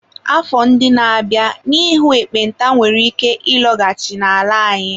Afọ ndị na-abịa, n'ihu ekpenta nwere ike ịlọghachi n'ala anyị.